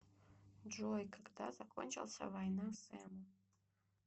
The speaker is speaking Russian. джой когда закончился война с эму